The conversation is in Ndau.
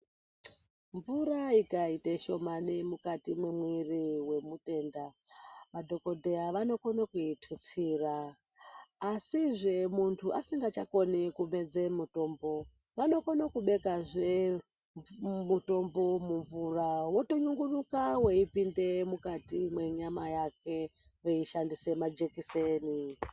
Mvura ikaite shomani mukati mwemwiri wemutenda madhokodheya vanokone kuitutsira asizve muntu asingachakoni kumedze mutombo vanokone kubekazve mutombo mumvura wotonungiduka weipinde mukati mwenyama yake kubudikidza ngemajekiseni.